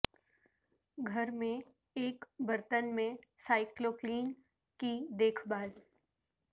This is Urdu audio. گھر میں ایک برتن میں سائیکلکلین کی دیکھ بھال